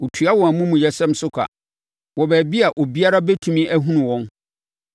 Ɔtua wɔn amumuyɛsɛm so ka wɔ baabi a obiara bɛtumi ahunu wɔn,